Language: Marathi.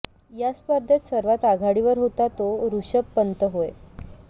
या स्पर्धेत सर्वात आघाडीवर होता तो ऋषभ पंत होय